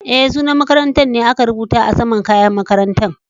Eh, sunan makarantan ne aka rubuta a sama'n kayan makarantan.